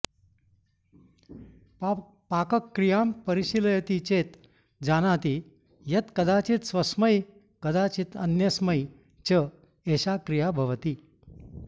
पाकक्रियां परिशीलयति चेत् जानाति यत् कदाचित् स्वस्मै कदाचित् अन्यस्मै च एषा क्रीया भवति